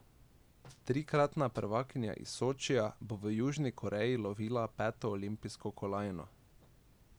Trikratna prvakinja iz Sočija bo v Južni Koreji lovila peto olimpijsko kolajno.